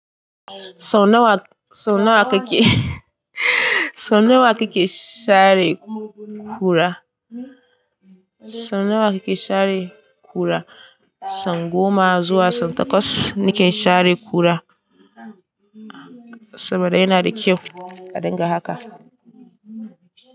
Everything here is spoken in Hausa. Sau nawa, sau nawa kake sau nawa kake share kura? Sau nawa kake share kura? Sau goma zuwa sau takwas nake share kura saboda yana da kyau a dinga haka.